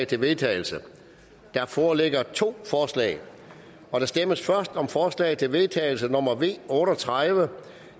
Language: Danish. til vedtagelse der foreligger to forslag der stemmes først om forslag til vedtagelse nummer v otte og tredive